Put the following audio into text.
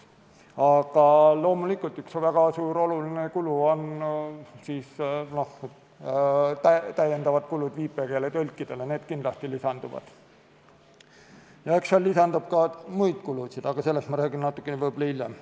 Aga loomulikult, üks väga suur ja oluline kulu ongi täiendav kulu viipekeeletõlkidele, see kindlasti lisandub, ja eks lisandub ka muid kulusid, aga sellest ma räägin võib-olla hiljem.